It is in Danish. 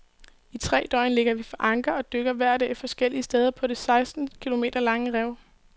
I tre døgn ligger vi for anker og dykker hver dag forskellige steder på det seksten kilometer lange rev.